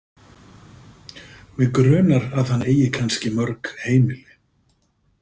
Mig grunar að hann eigi kannski mörg heimili.